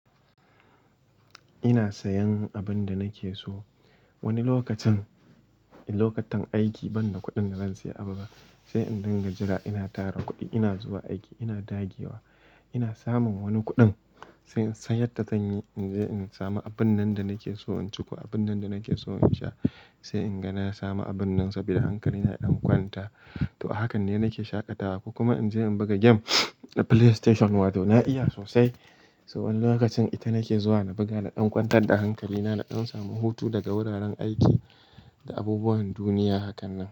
Ina sayan abin da nake so. Wani lokacin, lokacin aiki banda kuɗin da zan sayi abu ba, sai in dinga jira ina tara kuɗi, ina zuwa aiki, ina dagewa, ina samun wani kuɗin sai in san yadda zan yi in je in sami abun nan da nake so in ciko, abun nan da nake so in sha. Sai in ga na samu abun nan saboda hankali na ya ɗan kwanta. To, hakan ne nake shaƙatawa ko kuma in je in buga game a PlayStation wato na iya sosai. So wani lokacin ita nake zuwa na buga da ɗan kwantar da hankali na, da ɗan samu hutu daga wuraren aiki da abubuwan duniya hakan nan.